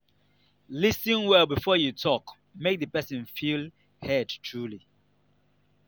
lis ten well before you talk make the person feel heard truly